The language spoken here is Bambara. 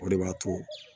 O de b'a to